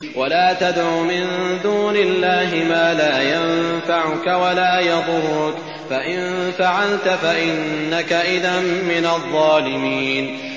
وَلَا تَدْعُ مِن دُونِ اللَّهِ مَا لَا يَنفَعُكَ وَلَا يَضُرُّكَ ۖ فَإِن فَعَلْتَ فَإِنَّكَ إِذًا مِّنَ الظَّالِمِينَ